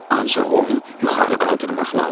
Ancaq onu yuxarı qaldırmaq lazımdır.